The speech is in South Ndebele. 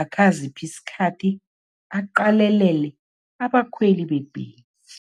akhe aziphe isikhathi, aqalelele abakhweli bebhesi.